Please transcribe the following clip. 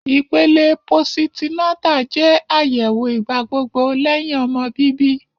Ipele positi-nata jẹ ayẹwo igbagbogbo lẹhin ọmọ bibi